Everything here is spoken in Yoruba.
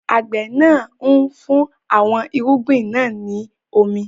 Àgbẹ̀ náà ń fún àwọn irúgbìn náà ní omi.